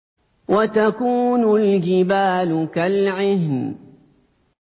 وَتَكُونُ الْجِبَالُ كَالْعِهْنِ